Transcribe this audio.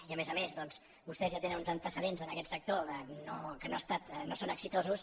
i a més a més doncs vostès ja tenen uns antecedents en aquest sec·tor que no són exitosos